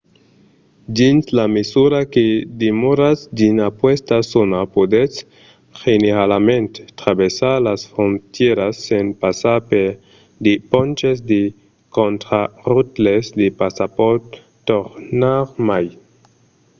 dins la mesura que demoratz dins aquesta zòna podètz generalament traversar las frontièras sens passar per de ponches de contraròtles de passapòrt tornarmai